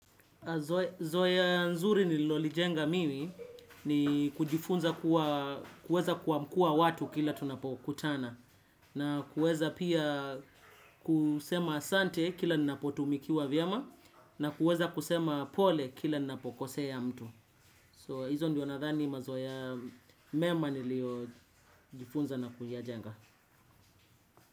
Zoea nzuri nililolijenga mimi ni kujifunza kuwa kuweza kuamkua watu kila tunapokutana. Na kuweza pia kusema asante kila ninapotumikiwa vyema. Na kuweza kusema pole kila ninapokosea mtu So hizo ndio nadhani mazoea mema nilio jifunza na kuyajenga.